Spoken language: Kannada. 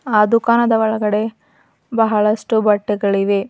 ಆ ದುಕನದ ಒಳಗಡೆ ಬಹಳಷ್ಟು ಬಟ್ಟೆಗಳಿವೆ.